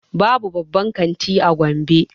Babu babban kanti a gombe